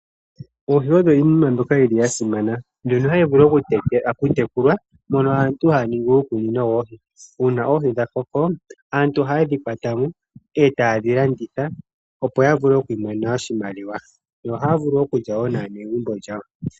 Oohi odho iinamwenyo mbyoka yili yasimana. Ohadhi vulu oku tekulwa, mono aantu haya ningi uukunino woohi .Uuna oohi dhakoko, aantu ohayedhi kwatamo e tayedhi landitha opo yavule oku imonena oshimaliwa. Yo ohaya vulu okulya woo naanegumbo yawo.